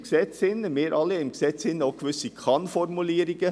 Wir haben im Gesetz gewisse Kann-Formulierungen.